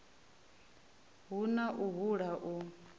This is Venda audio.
hu na u hula u